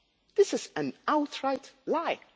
this is an outright